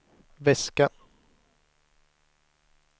väska